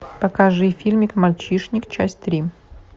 покажи фильмик мальчишник часть три